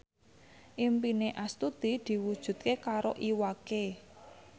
impine Astuti diwujudke karo Iwa K